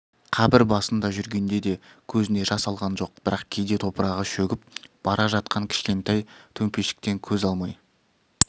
қабір басында жүргенде де көзіне жас алған жоқ бірақ кейде топырағы шөгіп бара жатқан кішкентай төмпешіктен көз алмай